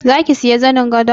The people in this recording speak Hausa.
Zaki siya zanin gadon?